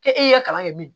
K'e y'i ka kalan kɛ min